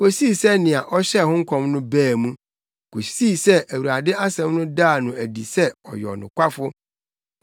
kosii sɛ nea ɔhyɛɛ ho nkɔm no baa mu, kosii sɛ Awurade asɛm no daa no adi sɛ ɔyɛ ɔnokwafo.